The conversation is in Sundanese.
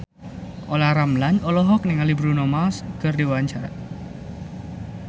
Olla Ramlan olohok ningali Bruno Mars keur diwawancara